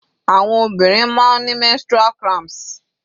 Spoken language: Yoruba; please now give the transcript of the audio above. Àwọn obìnrin máa ń ni menstrual cramps.